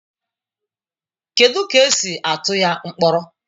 Kedu ka esi atụ ya mkpọrọ